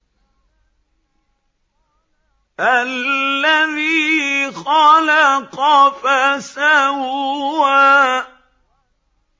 الَّذِي خَلَقَ فَسَوَّىٰ